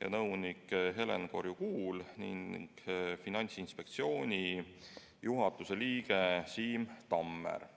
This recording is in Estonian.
ja nõunik Helen Korju-Kuul ning Finantsinspektsiooni juhatuse liige Siim Tammer.